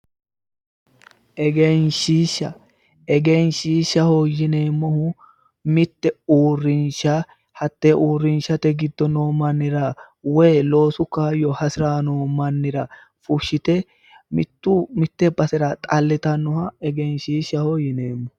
egenshiishsha egenshiishshaho yineemmohu mitte urrinsha hattee uurrinshate giddo noo mannira woyi loosu kaayyo hasiranno mannira fushshite mitte basera xallitannoha egenshiishshaho yineemmo.